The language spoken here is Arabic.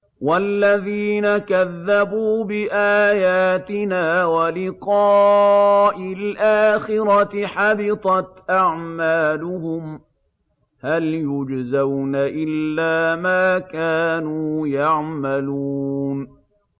وَالَّذِينَ كَذَّبُوا بِآيَاتِنَا وَلِقَاءِ الْآخِرَةِ حَبِطَتْ أَعْمَالُهُمْ ۚ هَلْ يُجْزَوْنَ إِلَّا مَا كَانُوا يَعْمَلُونَ